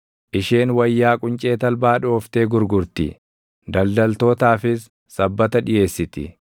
Isheen wayyaa quncee talbaa dhooftee gurgurti; daldaltootaafis sabbata dhiʼeessiti.